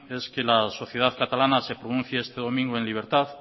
es que la sociedad catalana se pronuncie este domingo en libertad